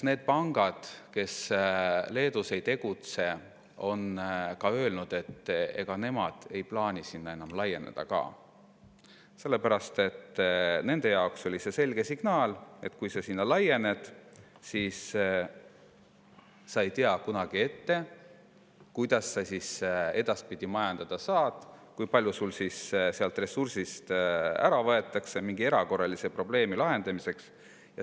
Need pangad, kes Leedus ei tegutse, on öelnud, et ega nemad ei plaani sinna enam laieneda ka, sest nende jaoks oli see selge signaal, et kui sa sinna laiened, siis sa ei tea kunagi ette, kuidas sa edaspidi majandada saad, kui palju sul seal ressurssi ära võetakse mingi erakorralise probleemi lahendamiseks.